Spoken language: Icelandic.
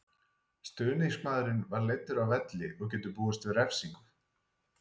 Stuðningsmaðurinn var leiddur af velli og getur búist við refsingu.